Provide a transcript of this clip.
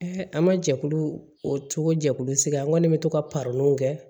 an ma jɛkulu o cogo jɛkulu sigi an ŋɔni bɛ to ka w kɛ